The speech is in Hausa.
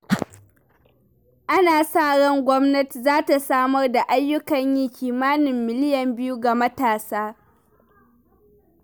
Ana sa ran gwamnati za ta samar da ayyukan yi kimanin miliyan biyu ga matasa.